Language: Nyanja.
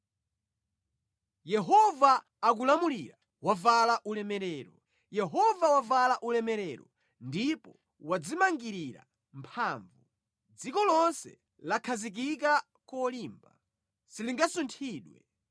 Yehova akulamulira, wavala ulemerero; Yehova wavala ulemerero ndipo wadzimangirira mphamvu, dziko lonse lakhazikika kolimba; silingasunthidwe.